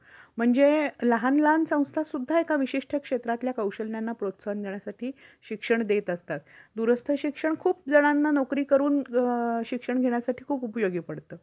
हम्म हम्म Deductible जास्त आणि corruption कमी व IDB कमी असेल दावा करण्याची वेळ येईल तेव्हा तुमच्यावर प्रतिकृत प्रार्थना होईल. बर ठीक आहे. policy चा काळ किती असतो?